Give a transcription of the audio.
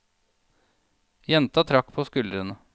Jenta trakk på skuldrene.